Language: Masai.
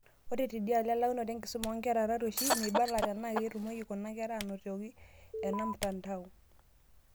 Ore tediaolo elaunoto enkisuma oonkera tarueshi, meibala tenaa ketumoki kuna kera anotiko ena mtandao.